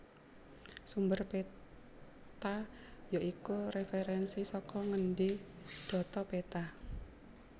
Sumber péta ya iku réferènsi saka ngendi dhata péta